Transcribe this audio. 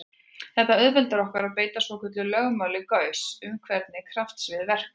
Þetta auðveldar okkur að beita svokölluðu lögmáli Gauss um hvernig kraftsvið verka.